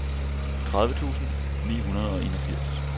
tredive tusind ni hundrede og enogfirs